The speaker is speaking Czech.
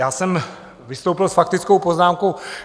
Já jsem vystoupil s faktickou poznámkou.